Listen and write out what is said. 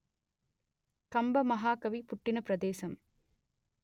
కంబ మహాకవి పుట్టిన ప్రదేశము